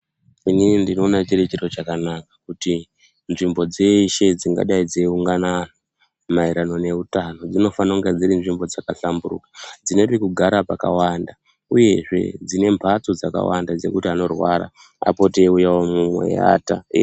Inini ndinoona chiri chiro chakanaka kuti nzvimbo dzeshe dzingadai dzeiungana ana maererano neutano dzinofana kunga dzirinzvimbo dzakahlamburuka dzine pekugara pakawanda uyezve dzine mbatso dzakawanda dzekuti anorwara apote eiuyewomo eiwata.